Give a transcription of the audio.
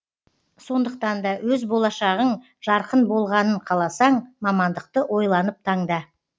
сондықтан да өз болашағың жарқын болғанын қаласаң мамандықты ойланып таңда